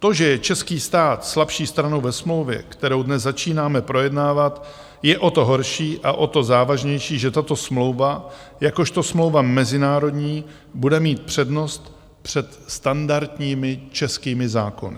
To, že je český stát slabší stranou ve smlouvě, kterou dnes začínáme projednávat, je o to horší a o to závažnější, že tato smlouva jakožto smlouva mezinárodní bude mít přednost před standardními českými zákony.